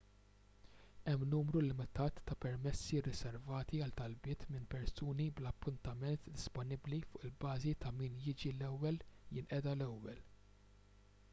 hemm numru limitat ta' permessi rriservati għal talbiet minn persuni bla appuntament disponibbli fuq il-bażi ta' min jiġi l-ewwel jinqeda l-ewwel